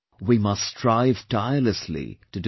We must strive tirelessly to do so